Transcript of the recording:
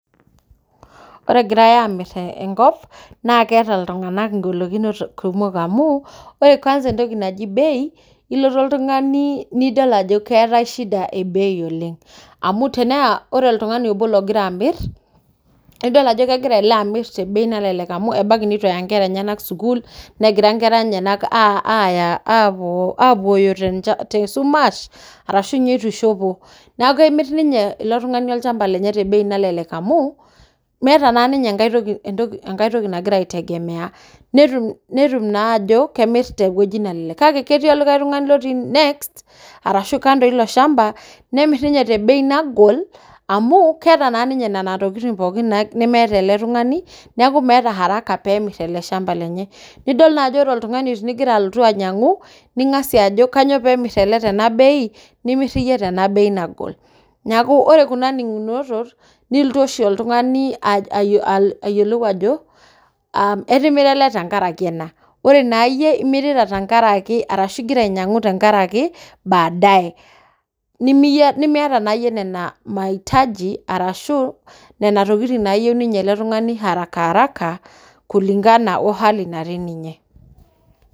Ore egirae amir enkop naa keeta iltunganak engolokinoto kumok amu ore kwanza bei ilotu oltungani nidol ajo keetae shida ebei oleng amu tenaa oltungani obo logira amir nidol ajo kegira ele amir tebei nalelek amu ebaiki neitu eya nkera enyenak sukuul negira nkera enyenak aaa aapuo apuoyo tesumash ashu ninye itu ishopo, neeku kemir ninye ilo tungani olchamba lenye tebei nalelek amu meeta taa ninye entoki , enkae toki nagira aitegemea netum naa ajo kemir tebei nalelek kake ketii olikae tungani lotii next ashu lotii kando ilo shamba nemir ninye tebei nagol amu keeta naa ninye ntokitin pookin nemeeta eletungani neeku meeta haraka pemir ele shamba lenye nidol naa ajo ore oltungani tiningira alotu ainyangu ningasia ajo kanyioo pemir ele tenabei nimir iyie tebei nagol , niaku ore kuna ningunotot